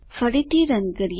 ફરીથી રન કરીએ